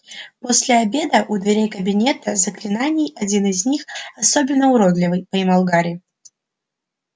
после обеда у дверей кабинета заклинаний один из них особенно уродливый поймал гарри